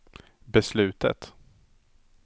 beslutet